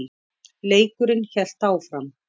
Leikurinn hélt áfram.